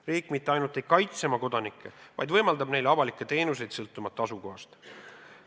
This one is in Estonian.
Riik mitte ainult ei kaitse oma kodanikke, vaid võimaldab neile avalikke teenuseid sõltumata asukohast.